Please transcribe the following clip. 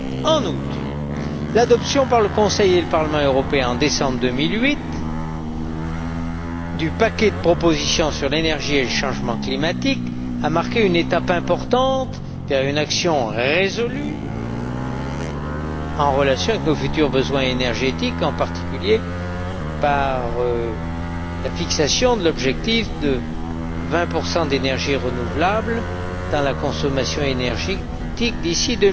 En outre, l'adoption par le Conseil et le Parlement européen, en décembre 2008, du paquet de propositions sur l'énergie et le changement climatique a marqué une étape importante vers une action résolue en relation avec nos besoins énergétiques futurs, en particulier par la fixation de l'objectif de 20 d'énergies renouvelables dans la consommation énergétique d'ici